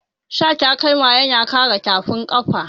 Sa takalma yana kare tafin kafa.